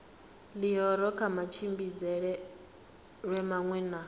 ḽihoro kha matshimbidzelwe maṅwe na